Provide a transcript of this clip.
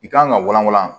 I kan ka wala wala